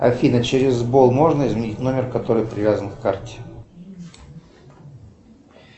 афина через бол можно изменить номер который привязан к карте